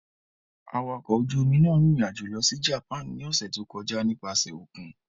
Awakọ̀ ojú-omi náà rìnrìn-àjò lọ sí Japan ní ọ̀sẹ̀ tó kọjá nípasẹ̀ òkun.